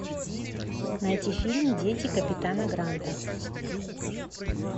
найти фильм дети капитана гранта